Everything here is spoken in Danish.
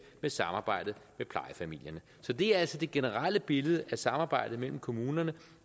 med samarbejdet med plejefamilierne så det er altså det generelle billede at samarbejdet mellem kommunerne